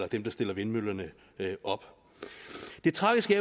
dem der stiller vindmøllerne op det tragiske